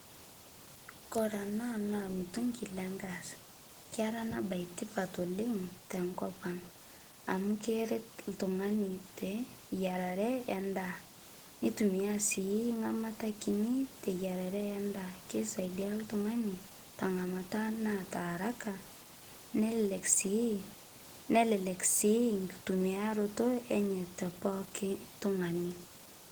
Kore anaa naa lmutung'i lengaas keraa anaa bai tipat oleng' tenkopang' amu keret ltung'ani teyararee endaa neitumia sii ng'amata kinii teyararee endaa keisaidia ltung'ani tang'amata naata harakaa nelelek sii nkutumiaroto enyee tepokii tung'ani.